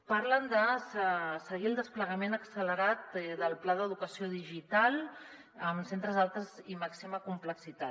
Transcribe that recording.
parlen de seguir el desplegament accelerat del pla d’educació digital en centres d’alta i màxima complexitat